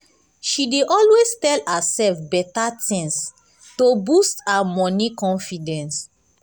she dey always tell herself better things to boost her money confidence.